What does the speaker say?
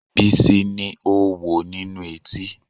Bísí ni oówo nínú etí